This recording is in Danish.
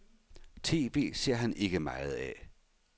TV ser han ikke meget af.